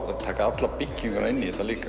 að taka alla bygginguna inn í þetta líka